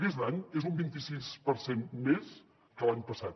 aquest any és un vint i sis per cent més que l’any passat